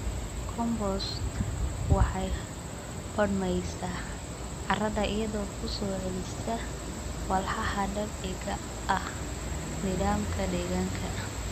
Compost waxay hodmaysaa carrada iyadoo ku soo celisa walxaha dabiiciga ah nidaamka deegaanka.